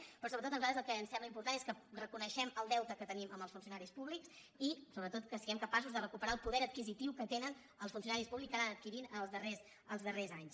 pe·rò sobretot a nosaltres el que ens sembla important és que reconeguem el deute que tenim amb els funcio·naris públics i sobretot que siguem capaços de recu·perar el poder adquisitiu que tenen els funcionaris pú·blics que han anat adquirint en els darrers anys